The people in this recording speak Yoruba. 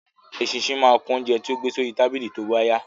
Eṣinṣin máa kún oúnjẹ tí ó gbé sí orí tábìlì tóbá yá